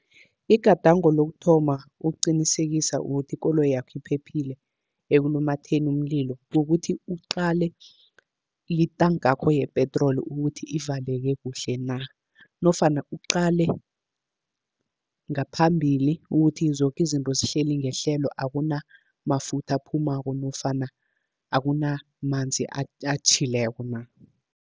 Igadango lokuthoma ukuqinisekisa ukuthi ikoloyakho iphephile ekulumatheni umlilo. Kukuthi uqale itankakho yepetroli ukuthi ivaleke kuhle na. Nofana uqale ngaphambili ukuthi zoke izinto zihleli ngehlelo, akunamafutha aphumako nofana akunamanzi atjhileko na.